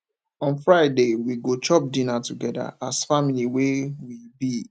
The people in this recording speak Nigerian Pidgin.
on friday we go chop dinner togeda as family wey we be